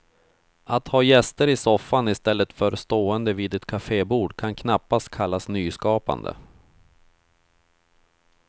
Att ha gäster i soffan istället för stående vid ett kafébord kan knappast kallas nyskapande.